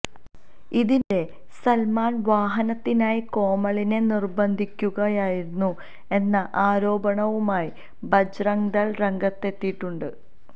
ഇതിനിടെ സല്മാന് വിവാഹത്തിനായി കോമളിനെ നിര്ബന്ധിക്കുകയായിരുന്നു എന്ന ആരോപണവുമായി ബജ്രംഗ്ദള് രംഗത്തെത്തിയിട്ടുണ്ട്